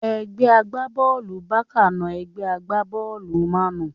Ẹgbẹ́ agbá-bọ́ọ̀lù Bákà na ẹgbẹ́ agbá-bọ́ọ̀lù mánù